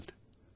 ধন্যবাদ